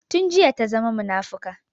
Tun jiya ta zama munafuka